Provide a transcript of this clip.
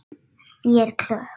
Ég er klökk.